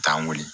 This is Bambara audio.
Taa wuli